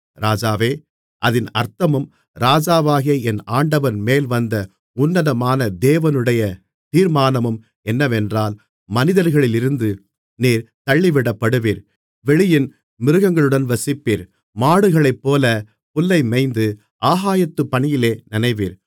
ராஜாவே அதின் அர்த்தமும் ராஜாவாகிய என் ஆண்டவன்மேல் வந்த உன்னதமான தேவனுடைய தீர்மானமும் என்னவென்றால் மனிதர்களிலிருந்து நீர் தள்ளிவிடப்படுவீர் வெளியின் மிருகங்களுடன் வசிப்பீர் மாடுகளைப்போலப் புல்லைமேய்ந்து ஆகாயத்துப் பனியிலே நனைவீர்